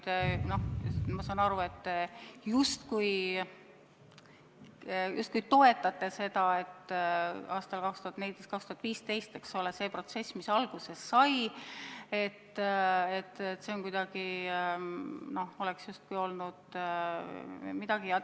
Ma saan aru, et te justkui toetate seda, et see protsess, mis aastatel 2014–2015 alguse sai, oleks justkui olnud kuidagi midagi ...